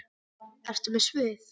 Ertu með svið?